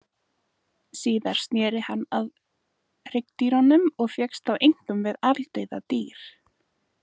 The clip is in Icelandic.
Síðar sneri hann sér að hryggdýrunum og fékkst þá einkum við aldauða dýr.